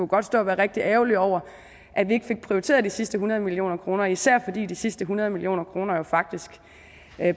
godt stå og være rigtig ærgerlig over at vi ikke fik prioriteret de sidste hundrede million kroner især fordi de sidste hundrede million kroner faktisk